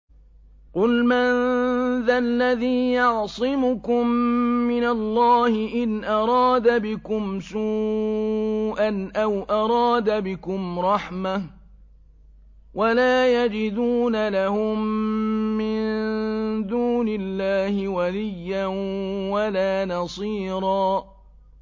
قُلْ مَن ذَا الَّذِي يَعْصِمُكُم مِّنَ اللَّهِ إِنْ أَرَادَ بِكُمْ سُوءًا أَوْ أَرَادَ بِكُمْ رَحْمَةً ۚ وَلَا يَجِدُونَ لَهُم مِّن دُونِ اللَّهِ وَلِيًّا وَلَا نَصِيرًا